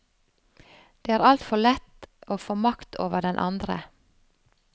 Det er altfor lett å få makt over den andre.